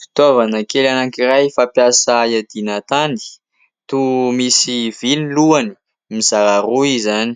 Fitaovana kely anankiray fampiasa iadiana tany, toa misy vy ny lohany mizara roa izany,